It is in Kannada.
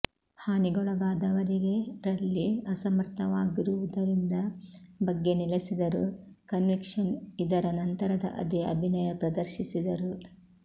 ಹಾನಿಗೊಳಗಾದವರಿಗೆ ರಲ್ಲಿ ಅಸಮರ್ಥವಾಗುರ್ವುದರಿಂದ ಬಗ್ಗೆ ನೆಲೆಸಿದರು ಕನ್ವಿಕ್ಷನ್ ಇದರ ನಂತರದ ಅದೇ ಅಭಿನಯ ಪ್ರದರ್ಶಿಸಿದರು